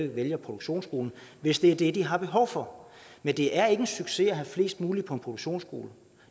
vælge en produktionsskole hvis det er det de har behov for men det er ikke en succes at have flest mulige på en produktionsskole